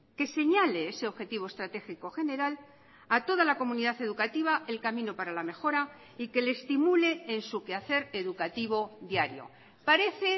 que señale ese objetivo estratégico general a toda la comunidad educativa el camino para la mejora y que le estimule en su que hacer educativo diario parece